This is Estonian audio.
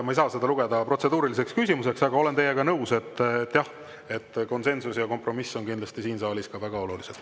Ma ei saa seda lugeda protseduuriliseks küsimuseks, aga olen teiega nõus, et jah, konsensus ja kompromiss on siin saalis kindlasti ka väga olulised.